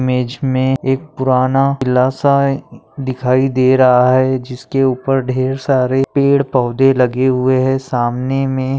Image मे एक पुराना किल्ला सा दिखाई दे रहा है। जिसके उपर ढेर सारा पेड़ पौधे लगे हुए है। सामने मे--